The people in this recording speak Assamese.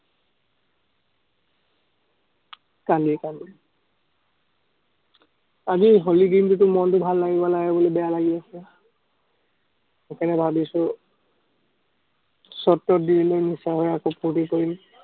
কান্দি কান্দি। আজি হলি দিনটোতো মনটো ভাল লাগিব লাগে, মনটো বেয়া লাগি আছে। সেইকাৰণে ভাৱিছো, ফুৰ্তি কৰিম।